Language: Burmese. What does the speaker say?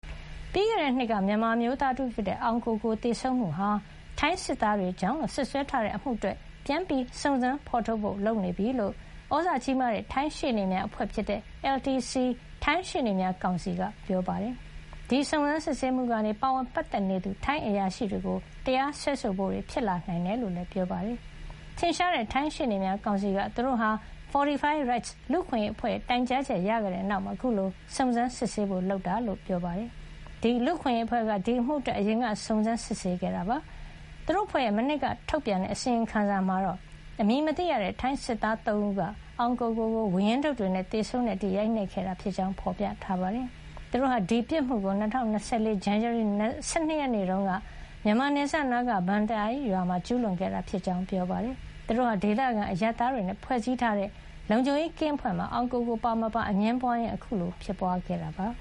ပြီးခဲ့တဲ့နှစ်က မြန်မာအမျိုးသား တဦးဖြစ်တဲ့ အောင်ကိုကို သေဆုံးမှုဟာ ထိုင်းစစ်သား တွေကြောင့်လို့ စွပ်စွဲထားတဲ့ အမှုအတွက် ပြန်လည် စုံစမ်းဖေါ်ထုတ်ဖို့ လုပ်နေပြီဖြစ်ကြောင်း သြဇာကြီးတဲ့ ထိုင်းရှေ့နေများအဖွဲ့ဖြစ်တဲ့ LCT ထိုင်းရှေ့နေများကောင်စီက ပြောပါတယ်။ ဒီစုံစမ်း စစ်ဆေးမှုကနေ ပါဝင် ပတ်သက်နေသူ ထိုင်းအရာရှိတွေကို တရားစွဲဆိုဖို့တွေ ဖြစ်လာနိုင်တယ်လို့လည်း ပြောပါတယ်။ ထင်ရှားတဲ့ ထိုင်းရှေ့နေများကောင်စီက သူတို့ဟာ Fortify Rights လူ့အခွင့်ရေးအဖွဲ့ရဲ့ တိုင်ကြားချက် ရခဲ့တဲ့နောက်မှာ အခုလို စုံစမ်းစစ်ဆေးဖို့ လုပ်ဆောင်တာဖြစ်ကြောင်း ပြောပါတယ်။ ဒီလူ့အခွင့်ရေးအဖွဲ့က ဒီအမှုအတွက် အရင်က စုံစမ်း စစ်ဆေးခဲ့တာပါ။ သူတု့ိအဖွဲ့ရဲ့ မနှစ်က ထုတ်ပြန်တဲ့ အစီရင်ခံစာမှာတော့ အမည်မသိရတဲ့ ထိုင်းစစ်သား ၃ ဦးက အောင်ကိုကို-ကို ဝါးရင်းဒုတ်တွေနဲ့ သေဆုံးတဲ့အထိ ရိုက်နှက်ခဲ့တာဖြစ်ကြောင်း ဖေါ်ပြထားပါတယ်။ သူတို့ဟာ ဒီပြစ်မှုကို ၂၀၂၄ ဇန်နဝါရီ ၁၂ ရက်တုန်းက မြန်မာနယ်စပ်နားက Baan Tai ရွာမှာ ကျူးလွန်ခဲ့တာ ဖြစ်ကြောင်း ပြောပါတယ်။ သူတို့ဟာ ဒေသခံ အရပ်သားတွေနဲ့ ဖွဲ့စည်းထားတဲ့ လုံခြုံရေးကင်းအဖွဲ့မှာ အောင်ကိုကို ပါမပါ အငြင်းပွါးရင်း အခုလို ဖြစ်ပွါးခဲ့တာပါ